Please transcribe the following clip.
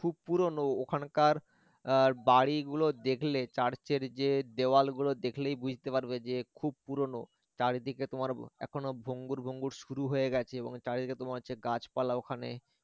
খুব পুরোনো ওখানকার এর বাড়িগুলো দেখলে church এর যে দেওয়াল গুলো দেখলেই বুঝতে পারবে যে খুব পুরোনো আর চারিদিকে তোমার এখনো ভঙ্গুর ভঙ্গুর শুরু হয়ে গেছে এবং চারিদিকে তোমার যে গাছপালা ওখানে